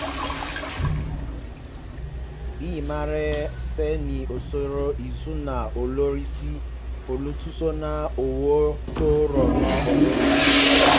bí emma ṣe ní iṣòro ìṣúnná ó lọ sí olùtọ́sọ́nà owó tó ràn án lọ́wọ́